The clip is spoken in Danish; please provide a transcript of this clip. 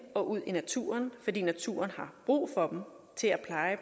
og ud i naturen fordi naturen har brug for dem til at pleje